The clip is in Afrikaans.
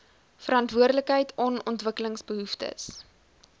verantwoordelikheid on ontwikkelingsbehoeftes